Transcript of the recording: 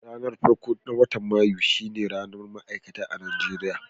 Ranan farko na watan Mayu shine ranan Ma'aikata a'Nijeriya.